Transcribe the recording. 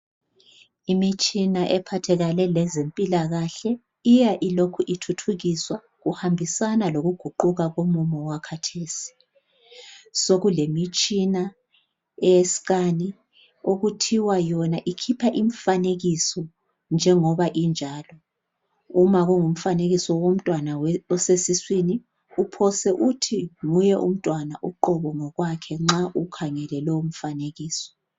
imitshina ephathelane lezimpilakahle iya ilokhu ithuthukiswa kuhambisana lokuguquka komumo owakhathesi sokulemitshina eye scan okuthiwa yona ikhipha imifanekiso njengoba injalo uma kungumfanekiso womntwana osesiswini uphose uthi nguye umntwana uqobo ngokwakhe nxa ukhangele lowo mfanekiso